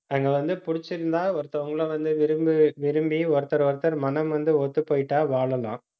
அங்க வந்து புடிச்சிருந்தா ஒருத்தவங்களும் வந்து, விரும்பி விரும்பி ஒருத்தரை ஒருத்தர் மனம் வந்து, ஒத்துப்போயிட்டா வாழலாம்